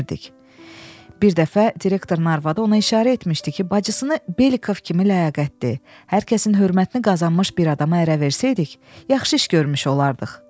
Bir dəfə direktorun arvadı ona işarə etmişdi ki, bacısını Belikov kimi ləyaqətli, hər kəsin hörmətini qazanmış bir adama ərə versəydik, yaxşı iş görmüş olardıq.